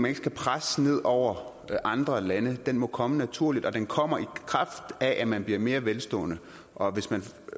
ikke skal presse ned over andre lande for den må komme naturligt og den kommer i kraft af at man bliver mere velstående og hvis man